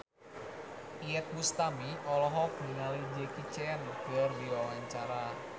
Iyeth Bustami olohok ningali Jackie Chan keur diwawancara